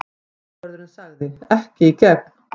Tollvörðurinn sagði: Ekki í gegn.